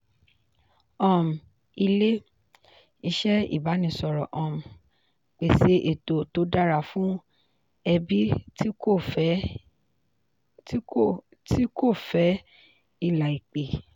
um ilé-iṣẹ́ ìbánisọ̀rọ̀ um pèsè ètò tó dára fún ẹbí tí kò fẹ́ ìlà ìpè.